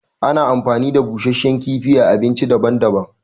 Ana amfani da busashen kifi a abinci daban daban